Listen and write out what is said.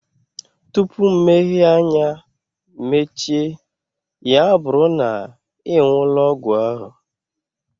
Tụpụ mmehie anya mechie, ya bụrụ na ị nwuola ọgwụ ahụ